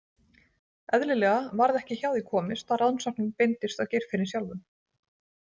Eðlilega varð ekki hjá því komist að rannsóknin beindist að Geirfinni sjálfum.